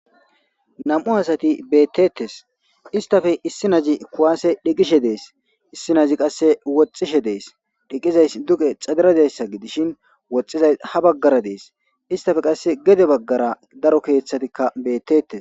Nam7u asati beettettes. Istafe issi nazi kuwaase dheeqishe dees ,issi nazi qasse woxxishe dees dhiqizay duqe xadera dizayssa gidishin woxxizay ha baggara dees. Istafe qasse gede baggara daro keeththatikka beetettees.